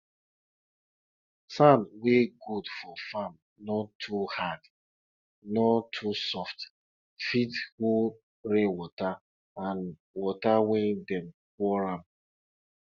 money wey families wey dey village dey get from dey get from selling milk na em dem dey se dey send their pikin go school